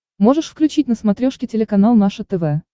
можешь включить на смотрешке телеканал наше тв